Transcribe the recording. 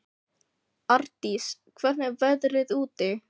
Ardís, hvernig er veðrið úti?